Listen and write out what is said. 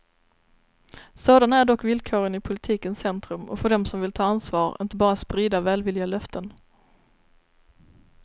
Sådana är dock villkoren i politikens centrum och för dem som vill ta ansvar, inte bara sprida välvilliga löften.